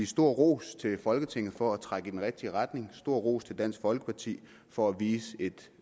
stor ros til folketinget for at trække i den rigtige retning og stor ros til dansk folkeparti for at vise et